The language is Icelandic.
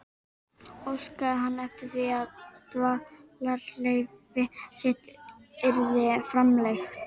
Óskaði hann eftir því, að dvalarleyfi sitt yrði framlengt.